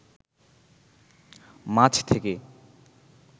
মাছ থেকে